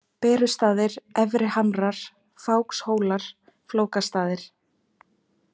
Berustaðir, Efri Hamrar, Fákshólar, Flókastaðir